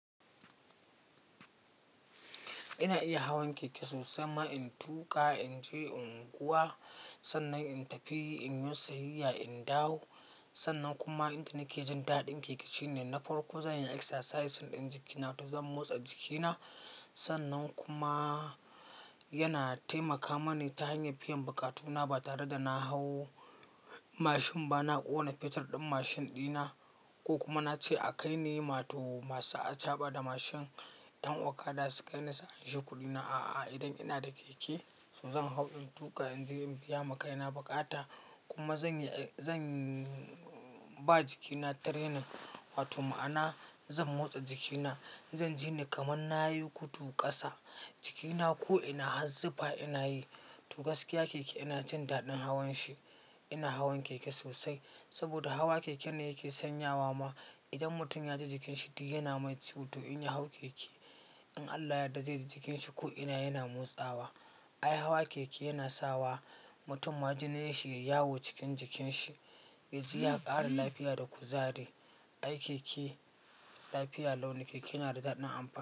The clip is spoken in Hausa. Ina iya hawan keke sosai ma. In tuƙa, in je, in kuwa, sannan in tafi, in yo sayayya, in dawo. Sannan kuma inda nakejin daɗin keke shine na farko zan yi exercise i ɗan jikina ta zan motsa jikina. Sannan kuma yana taimaka mani ta hanyar biyan bukatuna ba tare da na hau mashin ba, na ƙona fetur ɗin mashin ɗina ko kuma na ce a kai ni ma to masu achaɓa da mashin, 'yan okada su kai ni su anshi kuɗina. A'a, idan ina da keke, to zan hau, in tuƙa, in je in biya makaina bukata kuma zan yi, zan ba jikina training. Wato ma'ana zan motsa jikina, zan jini kamar na yi gudu ƙasa jikina ko'ina, har zifa ina yi. To gaskiya keke ina jin daɗin hawan shi. Ina hawan keke sosai saboda hawa keke ne yake sanyawa ma. Idan mutum ya ji jikinshi duk yana mai ciwo. In ya hau keke, in Allah yarda zai ji jikinshi ko'ina yana motsawa. Ai hawa keke yana sawa mutum ma jinin shi yai yawo cikin jikin shi. Ya ji ya ƙara lafiya da kuzari. Ai keke lafiya lau nike. Keke yana da daɗin amfani.